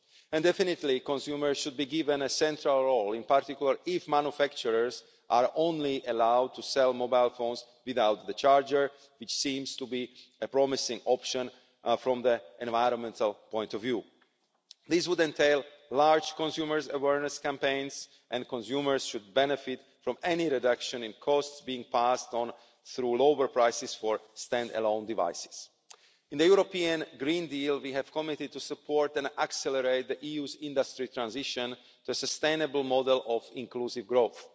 Consumers should definitely be given a central role, in particular if manufacturers are only allowed to sell mobile phones without the charger, which seems to be a promising option from the environmental point of view. This would entail large consumer awareness campaigns and consumers should benefit from any reduction in costs being passed on through lower prices for standalone devices. In the European Green Deal we have committed to support and accelerate the EU's industry transition to a sustainable model of inclusive